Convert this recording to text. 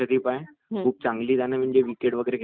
अच्छा म्हणजे बॉलिंग चांगलं पाहिजे